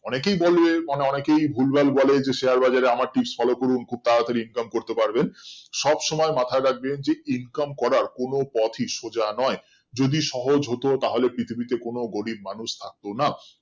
অনেকেই বলে মানে অনেকেই ভুলভাল বলে যে share বাজার এ আমার tips follow করুন খুব তাড়াতাড়ি income করতে পারবেন সবসময় মাথায় রাখবেন যে income করার কোনো পথই সোজা নয় যদি সহজ হতো তাহলে পৃথিবীতে কোনো গরিব মানুষ থাকতো না